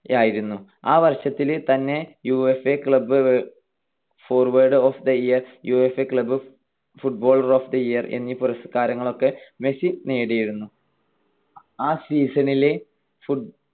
യായിരുന്നു. ആ വർഷത്തിൽ തന്നെ UEFA club forward of the year, UEFA club footballer of the year എന്നീ പുരസ്കാരങ്ങളൊക്കെ മെസ്സി നേടിയിരുന്നു. ആ season ലെ